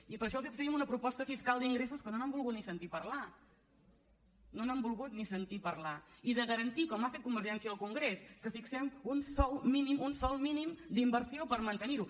i per això els fèiem una proposta fiscal d’ingressos que no n’han volgut ni sentir a parlar no n’han volgut ni sentir a parlar i de garantir com ha fet convergència al congrés que fixem un sòl mínim d’inversió per mantenir ho